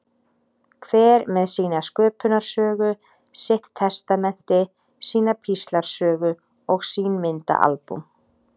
Hver með sína sköpunarsögu, sitt testamenti, sína píslarsögu og sín myndaalbúm.